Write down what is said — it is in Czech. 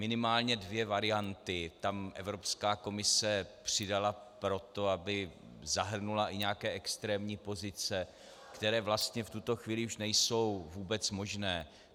Minimálně dvě varianty tam Evropská komise přidala proto, aby zahrnula i nějaké extrémní pozice, které vlastně v tuto chvíli už nejsou vůbec možné.